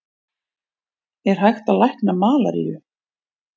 Er hægt að lækna malaríu?